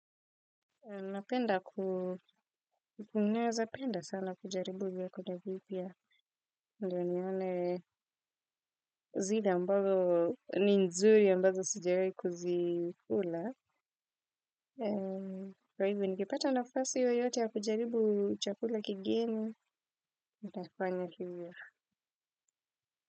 Napenda ku naeza penda sana kujaribu vyakula vipya. Ndo nione zile ambazo ni nzuri ambazo sijawai kuzikula. Kwa hivyo nikipata nafasi yoyote ya kujaribu chakula kigeni. Nitafanya hivyo.